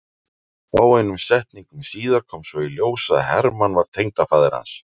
Fáeinum setningum síðar kom svo í ljós að Hermann var tengdafaðir hans.